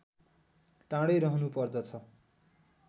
टाढै रहनु पर्दछ